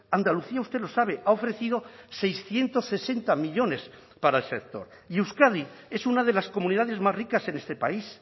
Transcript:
andalucía usted lo sabe ha ofrecido seiscientos sesenta millónes para el sector y euskadi es una de las comunidades más ricas en este país